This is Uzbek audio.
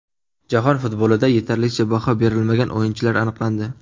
Jahon futbolida yetarlicha baho berilmagan o‘yinchilar aniqlandi.